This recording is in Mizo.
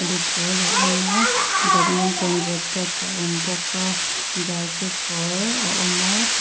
a pawl a awm a badminton racket a awm bawk a jersey kawr a awm a phei--